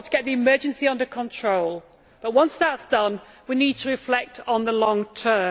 We have to get the emergency under control but, once that is done, we need to reflect on the long term.